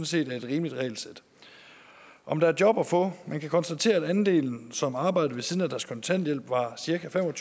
set er et rimeligt regelsæt om der er job at få man kan konstatere at andelen som arbejder ved siden af deres kontanthjælp var cirka fem og